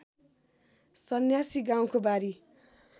सन्यासी गाउको बारी